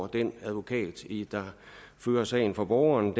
den advokat der fører sagen for borgerne